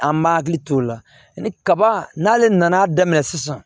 An m'a hakili t'o la ni kaba n'ale nan'a daminɛ sisan